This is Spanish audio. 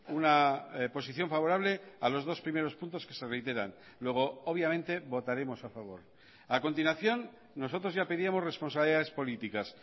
una posición favorable a los dos primeros puntos que se reiteran luego obviamente votaremos a favor a continuación nosotros ya pedíamos responsabilidades políticas